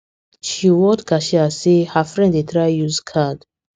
she word cashier say her friend dey try use card